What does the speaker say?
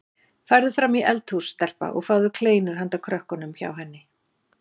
Farðu fram í eldhús stelpa og fáðu kleinur handa krökkunum hjá henni